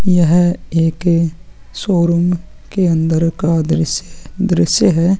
यह एक शोरूम के अंदर का दृस्य है दृस्य है।